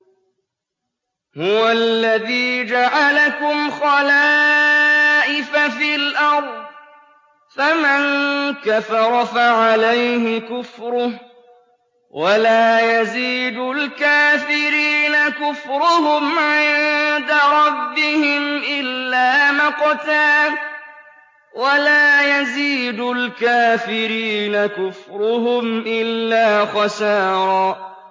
هُوَ الَّذِي جَعَلَكُمْ خَلَائِفَ فِي الْأَرْضِ ۚ فَمَن كَفَرَ فَعَلَيْهِ كُفْرُهُ ۖ وَلَا يَزِيدُ الْكَافِرِينَ كُفْرُهُمْ عِندَ رَبِّهِمْ إِلَّا مَقْتًا ۖ وَلَا يَزِيدُ الْكَافِرِينَ كُفْرُهُمْ إِلَّا خَسَارًا